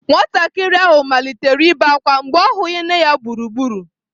Nwatakịrị ahụ malitere ibe ákwá mgbe ọ hụghị nne ya gburugburu.